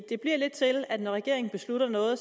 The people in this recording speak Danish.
det bliver lidt til at når regeringen beslutter noget